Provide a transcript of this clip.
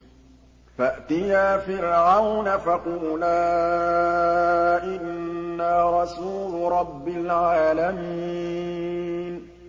فَأْتِيَا فِرْعَوْنَ فَقُولَا إِنَّا رَسُولُ رَبِّ الْعَالَمِينَ